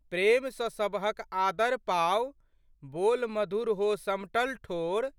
प्रेम सँ सबहक आदर पाउ, बोल मधुर हो समटल ठोर।